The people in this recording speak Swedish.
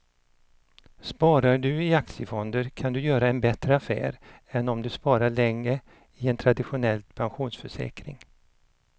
Sparar du i aktiefonder kan du göra en bättre affär än om du sparar länge i en traditionell pensionsförsäkring.